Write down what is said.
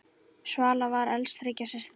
Svala var elst þriggja systra.